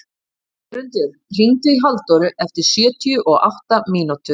Jörundur, hringdu í Halldóru eftir sjötíu og átta mínútur.